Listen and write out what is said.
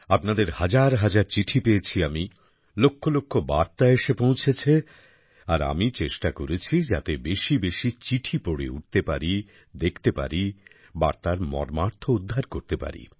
আপনাদের হাজার হাজার চিঠি পেয়েছি আমি লক্ষলক্ষ বার্তা এসে পৌঁছেছে আর আমি চেষ্টা করেছি যাতে বেশিবেশি চিঠি পড়ে উঠতে পারি দেখতে পারি বার্তার মর্মার্থ উদ্ধার করতে পারি